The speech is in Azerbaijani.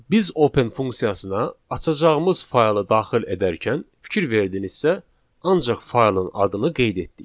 Biz open funksiyasına açacağımız faylı daxil edərkən fikir verdinizsə, ancaq faylın adını qeyd etdik.